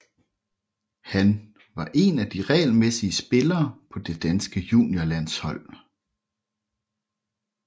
Han var en af de regelmæssige spillere på det danske juniorlandshold